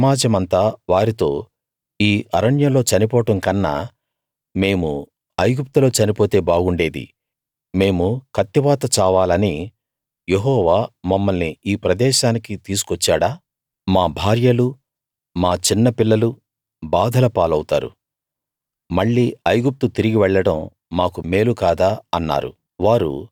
ఆ సమాజమంతా వారితో ఈ అరణ్యంలో చనిపోవడం కన్నా మేము ఐగుప్తులో చనిపోతే బాగుండేది మేము కత్తివాత చావాలని యెహోవా మమ్మల్ని ఈ ప్రదేశానికి తీసుకొచ్చాడా మా భార్యలు మా చిన్న పిల్లలు బాధల పాలౌతారు మళ్ళీ ఐగుప్తు తిరిగి వెళ్ళడం మాకు మేలు కాదా అన్నారు